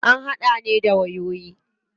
An hada ne da wayoyi.